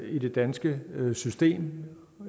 i det danske system